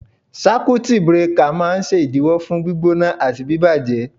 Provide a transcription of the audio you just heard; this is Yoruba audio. Sákútì brekà máa ń ṣèdíwọ́ fún gbígbóná àti bíbàjẹ́.